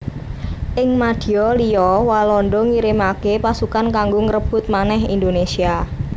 Ing madya liya Walanda ngirimaké pasukan kanggo ngrebut manèh Indonésia